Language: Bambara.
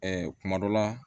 Ɛɛ kuma dɔ la